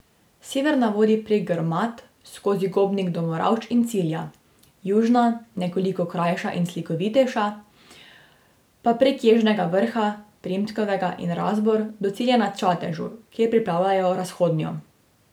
Severna vodi prek Grmad, skozi Gobnik do Moravč in cilja, južna, nekoliko krajša ter slikovitejša, pa prek Ježnega vrha, Primskovega in Razbor do cilja na Čatežu, kjer pripravljajo Razhodnjo.